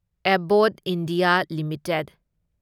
Abbott India limited